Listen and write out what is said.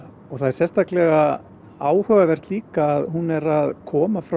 það er sérstaklega áhugavert líka að hún er að koma frá